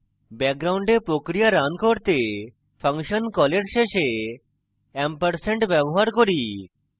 background প্রক্রিয়া run করতে function কলের শেষে & ব্যবহার করি